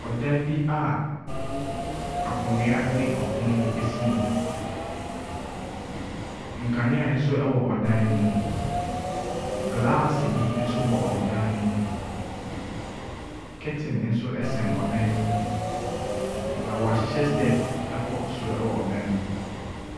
Dan bi aakonnwa ne pono bi si mu. Nkaneansowɔ dan no mu. Gelaase bi nso bɔ dan no mu. Curtain nso sɛn dan no mu, na wɔahyehyɛ steps kɔ soro wɔn dan no mu.